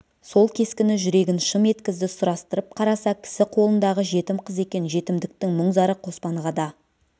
сол кескіні жүрегін шым еткізді сұрастырып қараса кісі қолындағы жетім қыз екен жетімдіктің мұң-зары қоспанға да